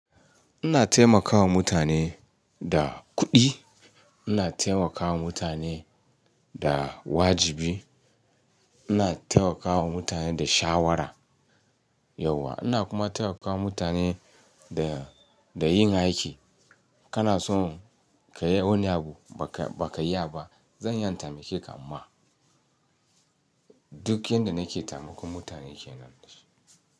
Ina taimakawa mutane da kuɗi, ina taimakawa mutane da wajibi, ina taimakawa mutane da shawara yauwa, ina kuma taimakawa mutane da, da yin aiki. Kana son ka yi wani abu baka, baka yi ba, zan iya temakeka amma duk inda nake taimakon mutane kenan.